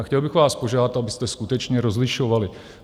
A chtěl bych vás požádat, abyste skutečně rozlišovali.